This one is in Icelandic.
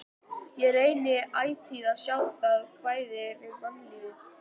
Ég reyni ætíð að sjá það jákvæða við mannlífið.